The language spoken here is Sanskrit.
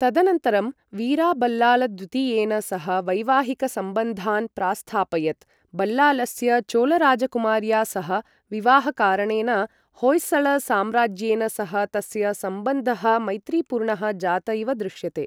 तदनन्तरं वीराबल्लालद्वितीयेन सह वैवाहिकसंबन्धान् प्रास्थापयत् बल्लालस्य चोलराजकुमार्या सह विवाहकारणेन होयसळ् साम्राज्येन सह तस्य सम्बन्धः मैत्रीपूर्णः जात इव दृश्यते।